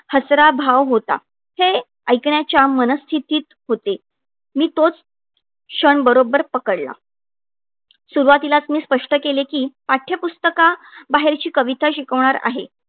हसरा भाव होता. हे ऐकण्याच्या मनस्थितीत होते. मी तोच क्षण बरोबर पकडला. सुरवातीलाच मी स्पष्ट केले, की पाठ्यपुस्तका बाहेरची कविता शिकवणार आहे.